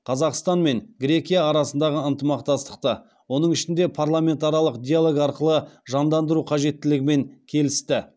қазақстан мен грекия арасындағы ынтымақтастықты оның ішінде парламент аралық диалог арқылы жандандыру қажеттілігілімен келісті